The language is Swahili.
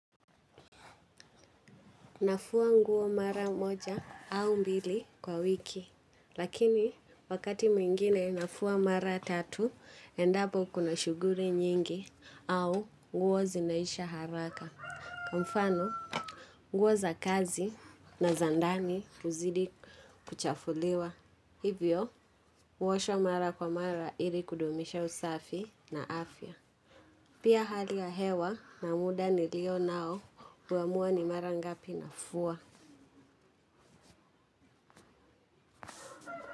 Nafua nguo mara moja au mbili kwa wiki, lakini wakati mwingine nafua mara tatu, endapo kuna shughuli nyingi au nguo zinaisha haraka. Kwa mfano, nguo za kazi na za ndani huzidi kuchafuliwa. Hivyo, huoshwa mara kwa mara ili kudumisha usafi na afya. Pia hali ya hewa na muda nilio nao, huamua ni mara ngapi nafua.